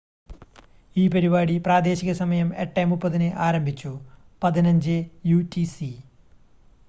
ഈ പരിപാടി പ്രാദേശികസമയം 8:30 ന്‌ ആരംഭിച്ചു 15.00 യു റ്റി സി